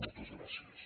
moltes gràcies